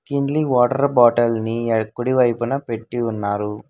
Kinley water bottle ని ఎ కుడి వైపున పెట్టి ఉన్నారు.